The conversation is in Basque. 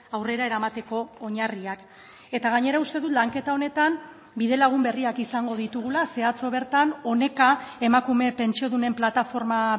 aurrera eramateko oinarriak eta gainera uste dut lanketa honetan bidelagun berriak izango ditugula ze atzo bertan oneka emakume pentsiodunen plataforma